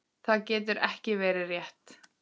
Það getur ekki verið rétt.